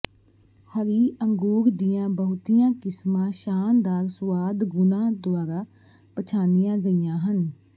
ਹਰੀ ਅੰਗੂਰ ਦੀਆਂ ਬਹੁਤੀਆਂ ਕਿਸਮਾਂ ਸ਼ਾਨਦਾਰ ਸੁਆਦ ਗੁਣਾਂ ਦੁਆਰਾ ਪਛਾਣੀਆਂ ਗਈਆਂ ਹਨ